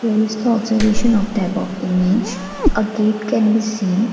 who is the observation of type of image a gate can be seen.